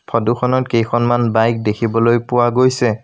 Photo খনত কেইখনমান bike দেখিবলৈ পোৱা গৈছে।